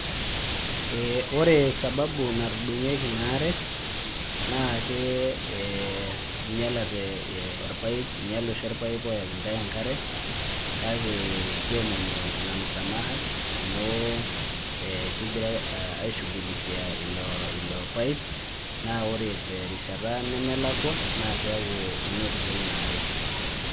Ore sababu natudung'ieki inaare, naa inyalate irpaip, inyale oshi orpaip oyaki ntae enkare, kake kiomonu ina msamaha ,amu kigira ai shughulikia ilo paip, naa ore terishata nemelakwa, na keeku inotito inaare.